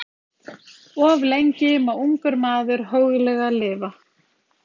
Of lengi má ungur maður hóglega lifa.